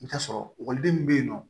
I bɛ t'a sɔrɔ ekɔliden min bɛ yen nɔ